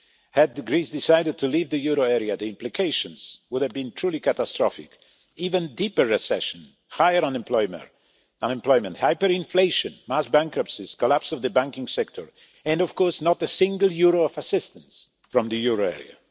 Had Greece decided to leave the euro area, the implications would have been truly catastrophic even deeper recession, higher unemployment, hyperinflation, mass bankruptcies, the collapse of the banking sector and, of course, not a single euro of assistance from the euro area.